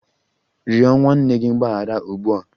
Rịọ nwanne gị mgbaghara ugbu a!